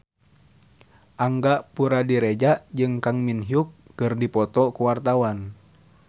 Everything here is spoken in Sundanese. Angga Puradiredja jeung Kang Min Hyuk keur dipoto ku wartawan